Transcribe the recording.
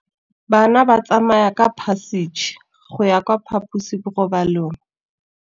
Bana ba tsamaya ka phašitshe go ya kwa phaposiborobalong.